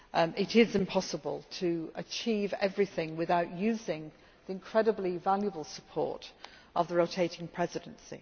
It is impossible to achieve everything without using the incredibly valuable support of the rotating Presidency.